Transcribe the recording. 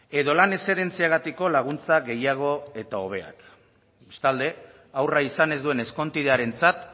edo lan eszedentziagatiko laguntza gehiago eta hobeak bestalde haurra izan ez duen ezkontidearentzat